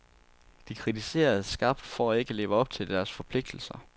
De kritiseres skarpt for ikke at leve op til deres forpligtelser.